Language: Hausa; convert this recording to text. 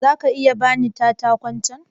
Za ka iya ba ni katakon can?